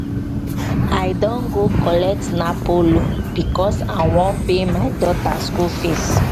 i don go collect napo loan because i wan pay my daughter school fees